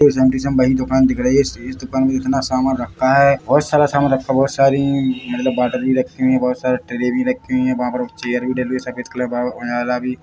Same to same वही दुकान दिख रही है इस दुकान में इतना सामान रखा है बहुत सारा सामान रखा हुआ सारी मतलब बॉटल भी रखे हुए है बहुत सारे ट्रे भी रखे हुए है वहाँ पर चेयर भी ले लिए सफेद कलर वाला भी।